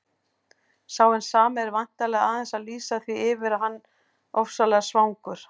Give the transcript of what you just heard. Sá hinn sami er væntanlega aðeins að lýsa því yfir að hann ofsalega svangur.